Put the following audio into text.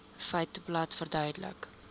feiteblad verduidelik